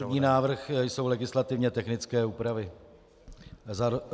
Prvním návrhem jsou legislativně technické úpravy.